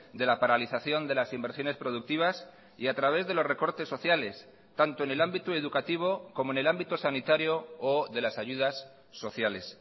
de la paralización de las inversiones productivas y a través de los recortes sociales tanto en el ámbito educativo como en el ámbito sanitario o de las ayudas sociales